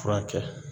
Furakɛ